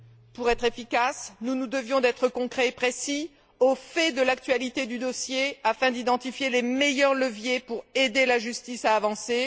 Pour être efficaces, nous nous devions d'être concrets et précis, au fait de l'actualité du dossier, afin d'identifier les meilleurs leviers pour aider la justice à avancer.